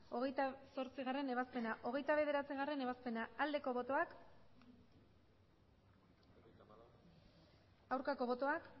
hogeita zortzigarrena ebazpena hogeita bederatzigarrena ebazpena aldeko botoak aurkako botoak